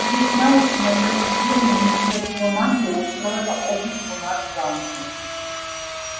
вы ведь знаете на той неделе министерство магии устроило обыск у нас в замке